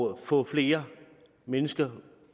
at få flere mennesker